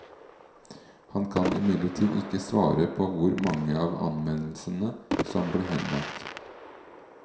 Han kan imidlertid ikke svare på hvor mange av anmeldelsene som ble henlagt.